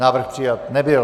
Návrh přijat nebyl.